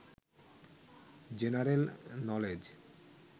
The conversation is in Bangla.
general knowledge